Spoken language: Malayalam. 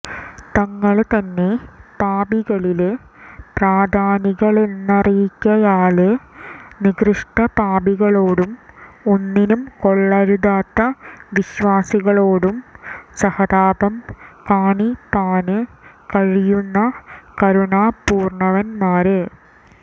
തങ്ങള് തന്നെ പാപികളില് പ്രധാനികളെന്നറികയാല് നികൃഷ്ടപാപികളോടും ഒന്നിനും കൊള്ളരുതാത്ത വിശ്വാസികളോടും സഹതാപം കാണിപ്പാന് കഴിയുന്ന കരുണാപൂര്ണ്ണന്മാര്